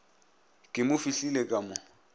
ke mo fihlile ka mo